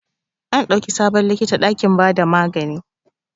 An dauki sabon likita dakin ba da magani.